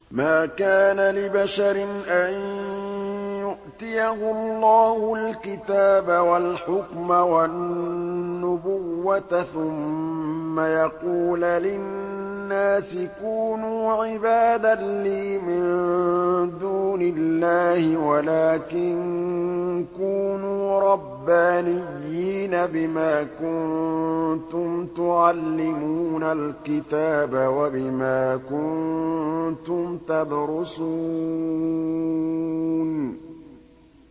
مَا كَانَ لِبَشَرٍ أَن يُؤْتِيَهُ اللَّهُ الْكِتَابَ وَالْحُكْمَ وَالنُّبُوَّةَ ثُمَّ يَقُولَ لِلنَّاسِ كُونُوا عِبَادًا لِّي مِن دُونِ اللَّهِ وَلَٰكِن كُونُوا رَبَّانِيِّينَ بِمَا كُنتُمْ تُعَلِّمُونَ الْكِتَابَ وَبِمَا كُنتُمْ تَدْرُسُونَ